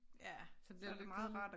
Ja så bliver det lidt kedeligt